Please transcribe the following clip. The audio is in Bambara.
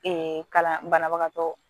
kalan banabagatɔ